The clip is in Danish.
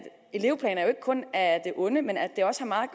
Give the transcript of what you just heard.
elevplaner ikke kun er af det onde men at det også har meget